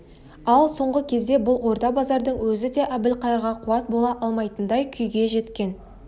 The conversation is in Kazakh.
ал соңғы кезде бұл орда-базардың өзі де әбілқайырға қуат бола алмайтындай күйге жеткен